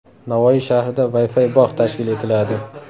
Navoiy shahrida Wi-Fi bog‘ tashkil etiladi.